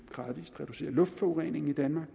gradvis reducere luftforureningen i danmark